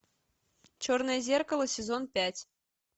черное зеркало сезон пять